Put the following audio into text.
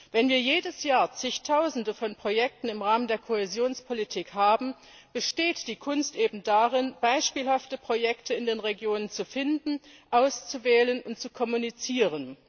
Wenn wir jedes Jahr Zigtausende von Projekten im Rahmen der Kohäsionspolitik haben, besteht die Kunst eben darin, beispielhafte Projekte in den Regionen zu finden, auszuwählen und zu kommunizieren.